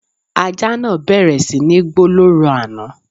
Ajá náà bẹ̀rẹ̀ sí ní gbó lóru àná